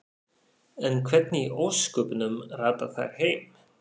En hvernig í ósköpunum rata þær heim?